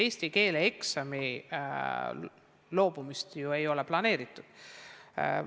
Eesti keele eksamist loobumist ei ole planeeritud.